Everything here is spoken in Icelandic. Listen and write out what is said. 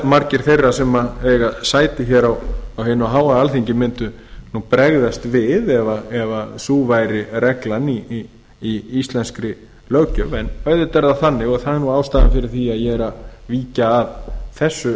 margir þeirra sem eiga sæti hér á hinu háa alþingi mundu bregðast við ef sú væri reglan í íslenskri löggjöf en auðvitað er það þannig og það er nú ástæðan fyrir því að ég er að víkja að þessu